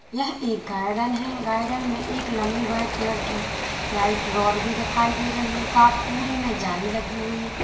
यह एक गार्डन है गार्डन में एक लंबी व्हाइट कलर की लाइट रॉड भी दिखाई दे रही है का पूरे में जाली लगी हुई--